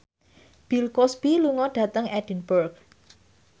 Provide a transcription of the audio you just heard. Bill Cosby lunga dhateng Edinburgh